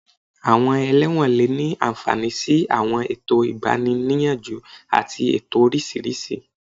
Àwọn ẹlẹ́wọ̀n lè ní àǹfààní sí àwọn ètò ìgbani-níyànjú àti ètò oríṣiríṣi